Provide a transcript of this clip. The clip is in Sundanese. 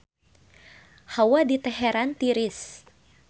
Hawa di Teheran tiris